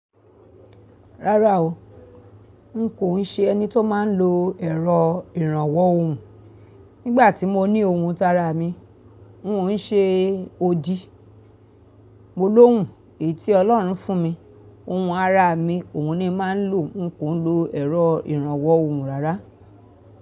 Rárá o, n kò ń ṣe ẹni tó máa ń lo ẹ̀rọ ìrànwọ́ ohùn. Nígbà tí mo ní ohùn tára mi, n o ń ṣe odi. Mo lóhùn èyí tí ọlọ́run fún mi. Ohùn ara mi òun ni má ń lò. N kò ń lo ẹ̀rọ ìrànwọ́ ohùn rárá.